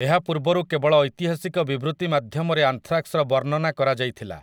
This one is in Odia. ଏହା ପୂର୍ବରୁ କେବଳ ଐତିହାସିକ ବିବୃତି ମାଧ୍ୟମରେ ଆନ୍ଥ୍ରାକ୍ସ୍‌ର ବର୍ଣ୍ଣନା କରାଯାଇଥିଲା ।